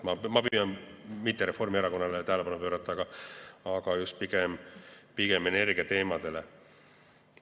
Ma püüan mitte pöörata tähelepanu Reformierakonnale, vaid pigem just energiateemadele.